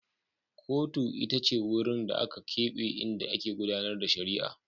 Kotun ita ce wurin da aka keɓe inda ake gudAnar da shari'a